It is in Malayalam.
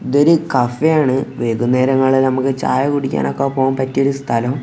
ഇതൊരു കഫെ ആണ് വൈകുന്നേരങ്ങളിൽ നമുക്ക് ചായ കുടിക്കാൻ ഒക്കെ പോകാൻ പറ്റിയ ഒരു സ്ഥലം.